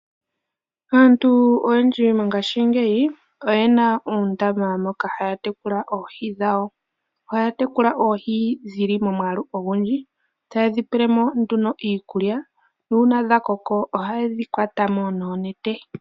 Aantu oyendji mongashingeyi oyena uundama moka haya tekula oohi dhawo. Ohaya tekula oohi dhili momwaalu ogundji taye dhi pele mo nduno iikulya nuuna dha koko ohaye dhi kwata mo noonete.